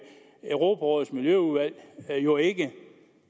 europarådets miljøudvalg jo ikke